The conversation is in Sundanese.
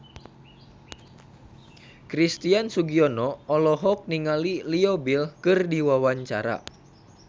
Christian Sugiono olohok ningali Leo Bill keur diwawancara